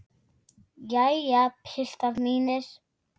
Jæja, piltar mínir!